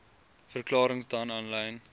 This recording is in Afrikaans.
verklarings dan aanlyn